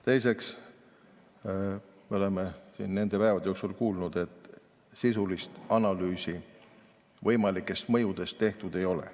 Teiseks, me oleme siin nende päevade jooksul kuulnud, et sisulist analüüsi võimalike mõjude kohta tehtud ei ole.